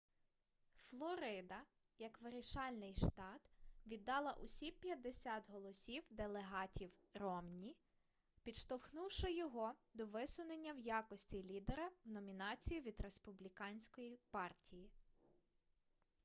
флорида як вирішальний штат віддала усі п'ятдесят голосів делегатів ромні підштовхнувши його до висунення в якості лідера в номінацію від республіканської партії